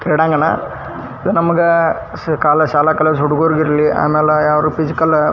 ಕ್ರೀಡಾಂಗಣ ಇದು ನಮಗ ಶಾಲೆ ಕಾಲೇಜು ಹುಡುಗುರಿಗ್ ಇರ್ಲಿ ಆಮೇಲೆ ಯಾರು ಫಿಸಿಕಲ್ --